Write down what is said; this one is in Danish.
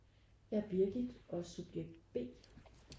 Jeg er Birgit og subjekt B